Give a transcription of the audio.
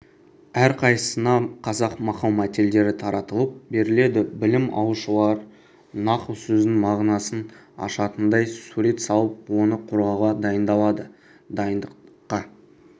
әрқайсысына қазақ мақал-мәтелдері таратылып беріледі білім алушылар нақыл сөздің мағынасын ашатындай сурет салып оны қорғауға дайындалады дайындыққа